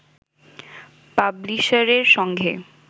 পাবলিশারের সঙ্গে